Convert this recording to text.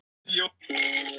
Það var á Ísland- Ítalíu